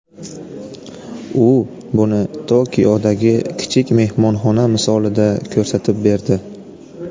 U buni Tokiodagi kichik mehmonxona misolida ko‘rsatib berdi.